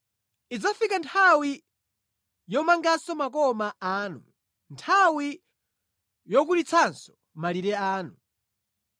Idzafika nthawi yomanganso makoma anu, nthawi yokulitsanso malire anu.